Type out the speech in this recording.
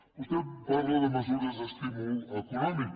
vostè em parla de mesures d’estímul econòmic